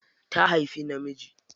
Ta haifi namiji.